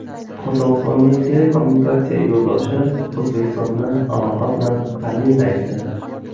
Qozog‘istonning telekommunikatsiya yo‘ldoshi O‘zbekistonni aloqa bilan ta’minlaydi.